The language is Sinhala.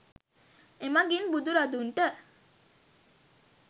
එමඟින් බුදු රදුන්ට